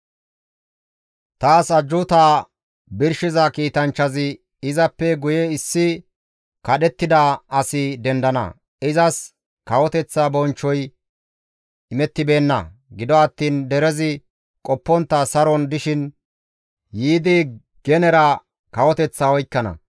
Taas ajjuutaa birshiza kiitanchchazi, «Izappe guye issi kadhettida asi dendana; izas kawoteththa bonchchoy imettibeenna; gido attiin derezi qoppontta saron dishin yiidi genera kawoteththaa oykkana.